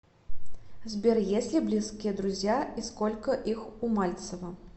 сбер есть ли близкие друзья и сколько их у мальцева